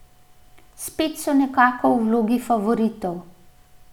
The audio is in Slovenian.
Spet so nekako v vlogi favoritov.